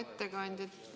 Hea ettekandja!